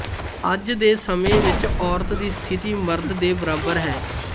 ਅੱਜ ਦੇ ਸਮੇਂ ਵਿੱਚ ਔਰਤ ਦੀ ਸਥਿਤੀ ਮਰਦ ਦੇ ਬਰਾਬਰ ਹੈ